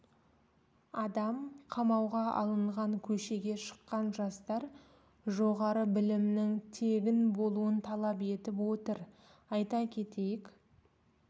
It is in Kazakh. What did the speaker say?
адам қамауға алынған көшеге шыққан жастар жоғарғы білімнің тегін болуын талап етіп отыр айта кетейік